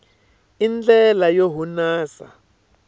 i ndlela yo hunasa